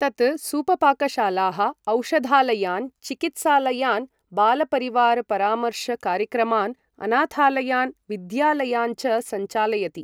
तत् सूपपाकशालाः औषधालयान् चिकित्सालयान् बालपरिवार परामर्श कार्यक्रमान् अनाथालयान् विद्यालयान् च सञ्चालयति।